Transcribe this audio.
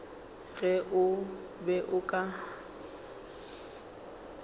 ge o be o ka